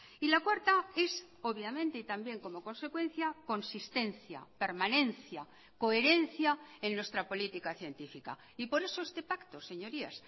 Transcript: y la cuarta es obviamente y también como consecuencia consistencia permanencia coherencia en nuestra política científica y por eso este pacto señorías